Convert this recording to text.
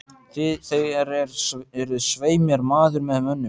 Þér eruð svei mér maður með mönnum.